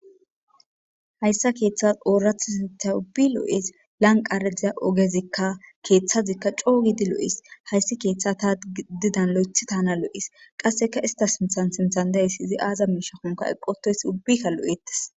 Hayssa keeththas ooraththeti ubbi lo7ees. Lanqqara diza ogezikka keeththazikka coo gidi lo7ees. Hayssi keththas tani didas loyththi taana lo7ees. Qassikka istta sinththan sinththan aaza mishakkon eqqi uttoyssi iita lo7etees.